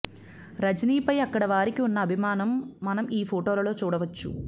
రజనీపై అక్కడి వారికి ఉన్న అభిమానం మనం ఈ ఫొటోలలో చూడవచ్చు